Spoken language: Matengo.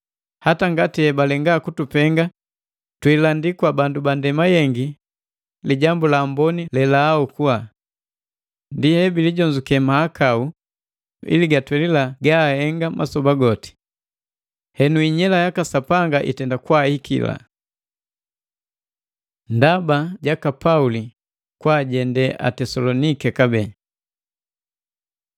Hata ngati balenga kutupenga twiilandi kwa bandu banndema yengi Lijambu la Amboni lelaaokula. Ndi hebilijonzuke mahakau gala ili gatwelila gabahenga masoba goti. Henu inyela yaka Sapanga itei kwahiki. Ndaba jaka Pauli kwaajende Atesaloniki kabee